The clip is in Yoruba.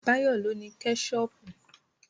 Báyọ̀ ló ní Kẹ́ṣọpù